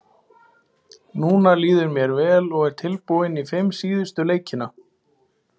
Núna líður mér vel og er tilbúinn í fimm síðustu leikina.